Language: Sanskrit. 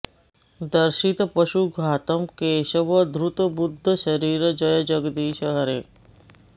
दर्शित पशु घातम् केशव धृत बुद्ध शरीर जय जगदीश हरे